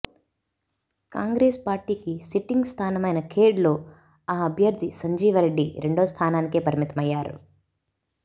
కాంగ్రెస్ పార్టీకి సిట్టింగ్ స్థానమైన ఖేడ్ లో ఆ అభ్యర్థి సంజీవరెడ్డి రెండో స్థానానికే పరిమితమయ్యారు